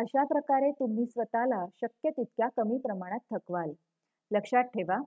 अशाप्रकारे तुम्ही स्वतःला शक्य तितक्या कमी प्रमाणात थकवाल लक्षात ठेवा